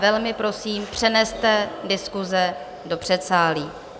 Velmi prosím, přeneste diskuse do předsálí.